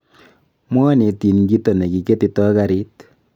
Mwanetin kito ne kiketito karit.